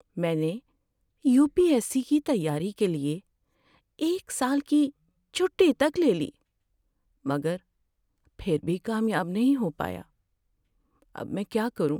میں نے UPSC کی تیاری کے لیے ایک سال کی چھٹی تک لے لی مگر پھر بھی کامیاب نہیں ہو پایا۔ اب میں کیا کروں؟